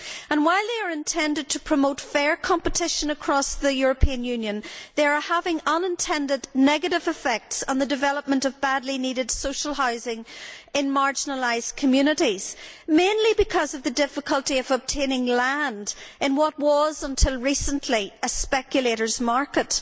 And, while they are intended to promote fair competition across the European Union, they are having unintended negative effects on the development of badly needed social housing in marginalised communities, mainly because of the difficulty of obtaining land in what was, until recently, a speculators' market.